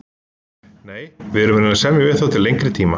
Nei, við erum að reyna að semja við þá til lengri tíma.